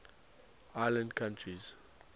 island countries